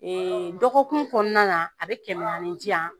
Ee dɔgɔkun kɔnɔna na a bɛ kɛmɛ ani diyan